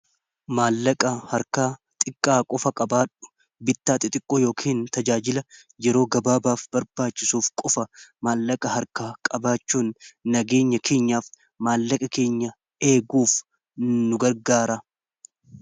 Maallaqa harkaa xiqqaa qofa qabaadhu. Bittaa xixiqqoo yookin tajaajila yeroo gabaabaaf barbaachisuuf qofa maallaqa harka qabaachuun nageenya keenyaaf maallaqa keenya eeguuf nu gargaara.